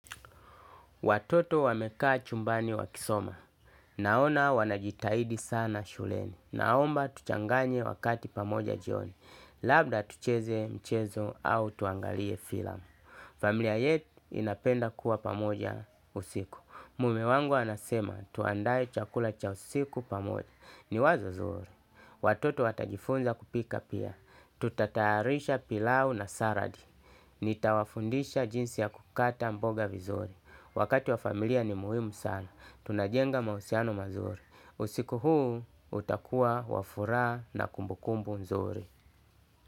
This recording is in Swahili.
Watoto wamekaa chumbani wakisoma. Naona wanajitahidi sana shuleni. Naomba tuchanganye wakati pamoja jioni. Labda tucheze mchezo au tuangalie filamu. Familia yetu inapenda kuwa pamoja usiku. Mume wangu anasema tuandae chakula cha usiku pamoja. Ni wazo zuri. Watoto watajifunza kupika pia. Tutayarisha pilau na salad. Nitawafundisha jinsi ya kukata mboga vizuri. Wakati wa familia ni muhimu sana. Tunajenga mahusiano mazuri. Usiku huu utakua wa furaha na kumbukumbu nzuri.